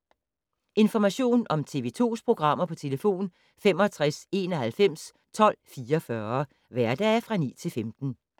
Information om TV 2's programmer: 65 91 12 44, hverdage 9-15.